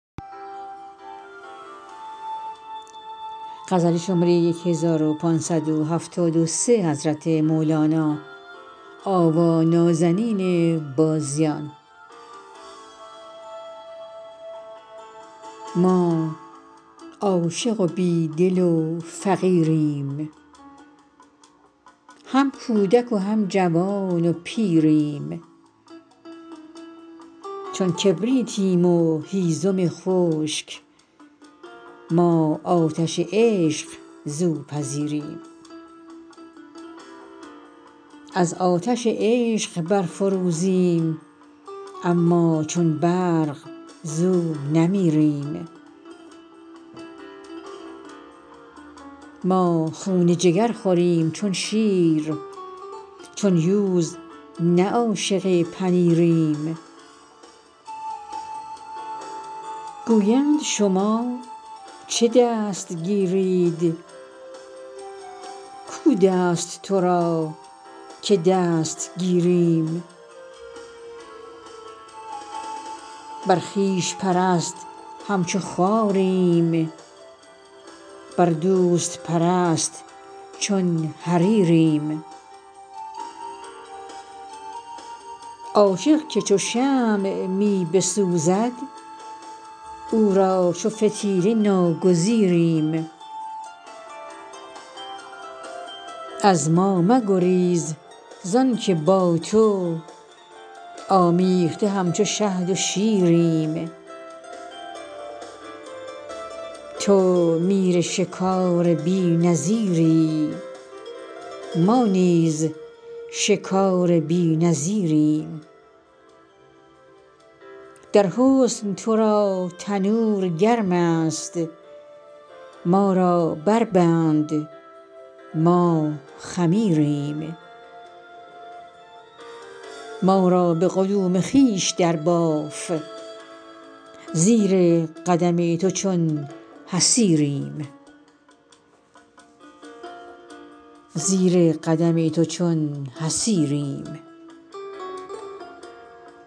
ما عاشق و بی دل و فقیریم هم کودک و هم جوان و پیریم چون کبریتیم و هیزم خشک ما آتش عشق زو پذیریم از آتش عشق برفروزیم اما چون برق زو نمیریم ما خون جگر خوریم چون شیر چون یوز نه عاشق پنیریم گویند شما چه دست گیرید کو دست تو را که دست گیریم بر خویش پرست همچو خاریم بر دوست پرست چون حریریم عاشق که چو شمع می بسوزد او را چو فتیله ناگزیریم از ما مگریز زانک با تو آمیخته همچو شهد و شیریم تو میر شکار بی نظیری ما نیز شکار بی نظیریم در حسن تو را تنور گرم است ما را بربند ما خمیریم ما را به قدوم خویش درباف زیر قدم تو چون حصیریم